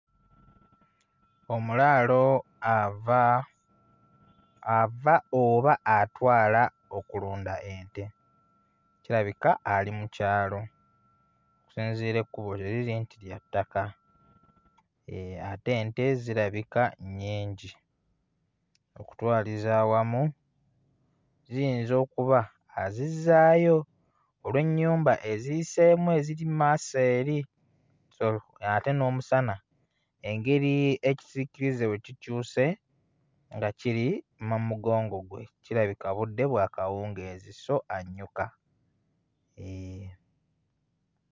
Omulaalo ava, ava oba atwala okulunda ente kirabika ali mu kyala okusinziira ekkubo ke liri nti lya ttaka eeh ate ente zirabika nnyingi. Okutwaliza awamu ziyinza okuba azizzaayo olw'ennyumba eziyiseemu eziri mmaaso eri so ate n'omusana engeri ekisiikirize we kikyuse nga kiri ma mugongo gwe kirabika budde bwa kawungeezi so annyuka, eeh.